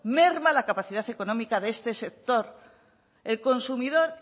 merma la capacidad económica de este sector el consumidor